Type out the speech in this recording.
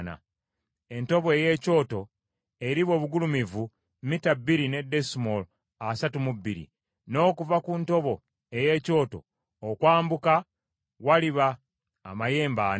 Entobo ey’ekyoto eriba obugulumivu mita bbiri ne desimoolo asatu mu bbiri, n’okuva ku ntobo ey’ekyoto okwambuka waliba amayembe ana.